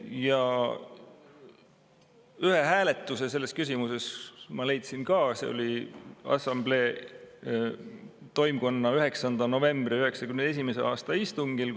" Ja ühe hääletuse selles küsimuses ma leidsin ka, see oli assamblee toimkonna 1991. aasta 9. novembri istungil,